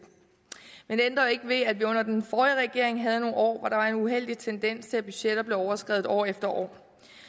det ændrer dog ikke ved at vi under den forrige regering havde nogle år hvor der var en uheldig tendens til at budgetter blev overskredet år efter år